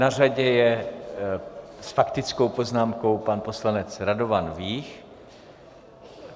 Na řadě je s faktickou poznámkou pan poslanec Radovan Vích.